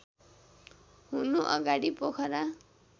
हुनु अगाडि पोखरा